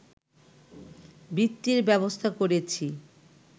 বৃত্তির ব্যবস্থা করেছি